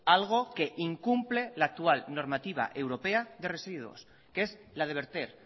algo que incumple la actual normativa europea de residuos que es la de verter